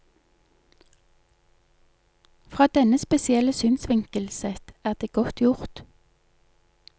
Fra denne spesielle synsvinkel sett er det godt gjort.